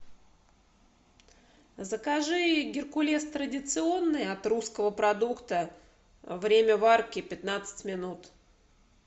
закажи геркулес традиционный от русского продукта время варки пятнадцать минут